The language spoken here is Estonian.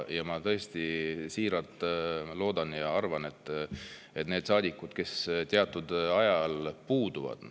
Ma tõesti siiralt loodan ja arvan, et need saadikud, kes teatud ajal puuduvad …